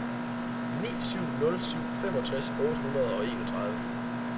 ni syv nul syv femogtres otte hundrede og enogtredive